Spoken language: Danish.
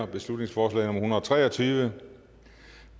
beslutningsforslag nummer og tre og tyve